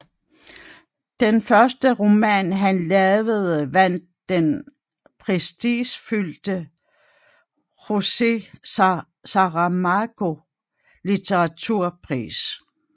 Den første roman han lavede vandt den prestigefyldte Jose Saramago Litteraturpris